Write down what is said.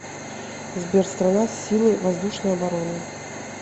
сбер страна силы воздушной обороны